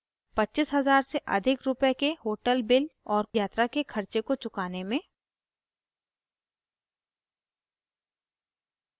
25 000 से अधिक रूपए के hotel bills और यात्रा के खर्चे को चुकाने में